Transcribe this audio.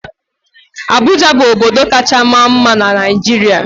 Abụja bụ obodo kacha maa mma na Naịjirịa.